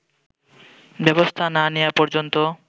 ব্যবস্থা না নেয়া পর্যন্ত